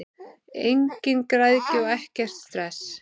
Engin græðgi og ekkert stress!